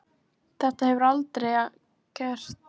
Þetta hefur hann aldrei gert áður.